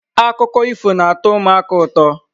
Akụkọ ifo na-atọ ụmụaka ụtọ.